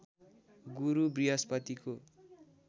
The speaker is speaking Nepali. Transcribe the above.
गुरु बृहस्पतिको